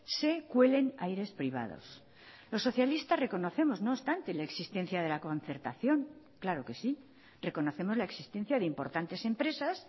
se cuelen aires privados los socialistas reconocemos no obstante la existencia de la concertación claro que sí reconocemos la existencia de importantes empresas